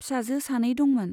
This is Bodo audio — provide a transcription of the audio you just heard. फिसाजो सानै दंमोन।